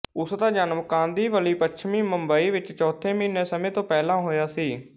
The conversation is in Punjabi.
ਉਸ ਦਾ ਜਨਮ ਕਾਂਦੀਵਲੀ ਪੱਛਮੀ ਮੁੰਬਈ ਵਿੱਚ ਚੌਥੇ ਮਹੀਨੇ ਸਮੇਂ ਤੋਂ ਪਹਿਲਾਂ ਹੋਇਆ ਸੀ